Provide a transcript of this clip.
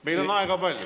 Meil on aega palju.